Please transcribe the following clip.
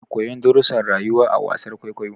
Ana koyon darrusan rayuwa a wasar kwaikwayo